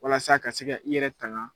Walasa ka se ka i yɛrɛ tanga.